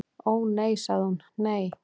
"""Ó, nei sagði hún, nei."""